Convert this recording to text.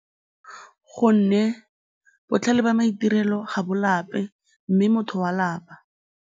Gonne botlhale jwa maitirelo ga bo lape mme motho o a lapa.